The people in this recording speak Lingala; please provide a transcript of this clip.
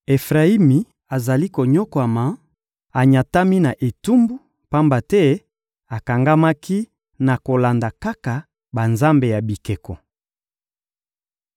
Efrayimi azali konyokwama, anyatami na etumbu, pamba te akangamaki na kolanda kaka banzambe ya bikeko.